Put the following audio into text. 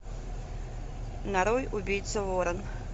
нарой убийца ворон